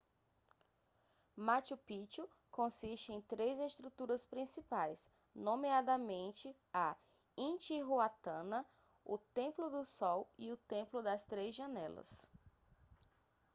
machu picchu consiste em três estruturas principais nomeadamente a intihuatana o templo do sol e o templo das três janelas